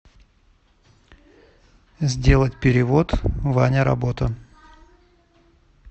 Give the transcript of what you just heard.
сделать перевод ваня работа